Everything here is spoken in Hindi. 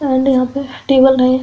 एंड यहां पे टेबल रहे --